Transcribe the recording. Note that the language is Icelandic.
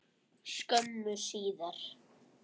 skömmu síðar.